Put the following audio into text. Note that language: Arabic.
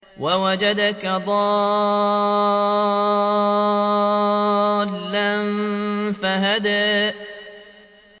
وَوَجَدَكَ ضَالًّا فَهَدَىٰ